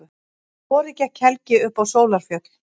Um vorið gekk Helgi upp á Sólarfjöll.